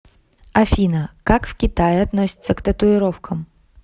афина как в китае относятся к татуировкам